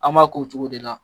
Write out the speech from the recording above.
An b'a k'o cogo de la